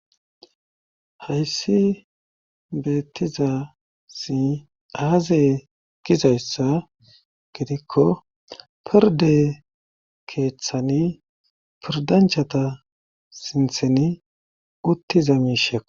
Hayssi beettiza si aaze gizayssa gidikko pirde keeththani pirdanchata sintheni uttiza miishekko.